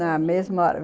Na mesma